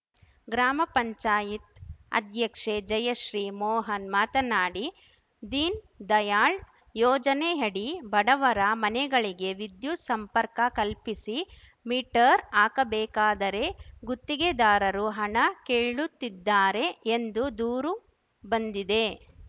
ಗ್ರಾಮಪಂಚಾಯತ್ ಅಧ್ಯಕ್ಷೆ ಜಯಶ್ರೀ ಮೋಹನ್‌ ಮಾತನಾಡಿ ದೀನ್‌ ದಯಾಳ್‌ ಯೋಜನೆಯಡಿ ಬಡವರ ಮನೆಗಳಿಗೆ ವಿದ್ಯುತ್‌ ಸಂಪರ್ಕ ಕಲ್ಪಿಸಿ ಮೀಟರ್‌ ಹಾಕಬೇಕಾದರೆ ಗುತ್ತಿಗೆದಾರರು ಹಣ ಕೇಳುತ್ತಿದ್ದಾರೆ ಎಂದು ದೂರುಬಂದಿದೆ